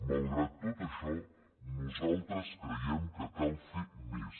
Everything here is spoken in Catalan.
malgrat tot això nosaltres creiem que cal fer més